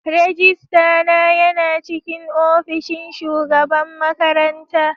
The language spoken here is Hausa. Rajistana yana cikin opishin shugaban makaranta.